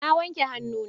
Na wanke hannuna.